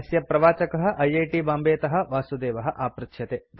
अस्य प्रवाचकः I I T बाम्बेतः वासुदेवः आपृच्छ्यते